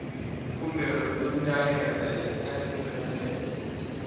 khumbelo ya ndaela ya tsireledzo